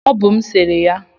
ọ bụ m sere ya